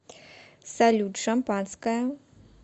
салют шампанское